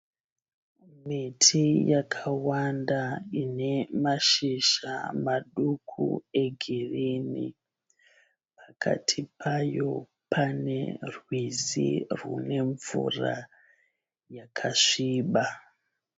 Miti yakawanda inemashizha maduku egirini. Pakati payo panerwizi runemvura yakasviba.